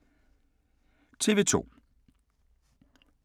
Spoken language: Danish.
TV 2